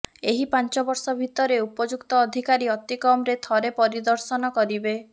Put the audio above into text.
ଏହି ପାଂଚ ବର୍ଷ ଭିତରେ ଉପଯୁକ୍ତ ଅଧିକାରୀ ଅତିକମରେ ଥରେ ପରିଦର୍ଶନ କରିବେ